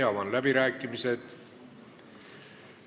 Avan läbirääkimised.